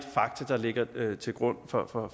fakta der ligger til grund for for